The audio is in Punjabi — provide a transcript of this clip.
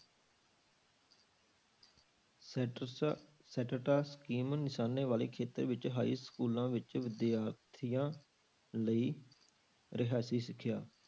ਸੈਡਰਸ scheme ਨਿਸ਼ਾਨੇ ਵਾਲੇ ਖੇਤਰ ਵਿੱਚ ਹਾਈ schools ਵਿੱਚ ਵਿਦਿਆਰਥੀਆਂ ਲਈ ਰਿਹਾਇਸੀ ਸਿੱਖਿਆ।